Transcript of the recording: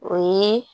O ye